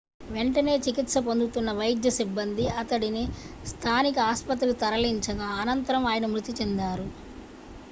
వెంటనే చికిత్స పొందుతున్న వైద్య సిబ్బంది అతడిని స్థానిక ఆస్పత్రికి తరలించగా అనంతరం ఆయన మృతి చెందారు